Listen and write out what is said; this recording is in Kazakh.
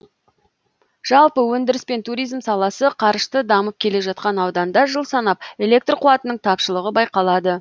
жалпы өндіріс пен туризм саласы қарышты дамып келе жатқан ауданда жыл санап электр қуатының тапшылығы байқалады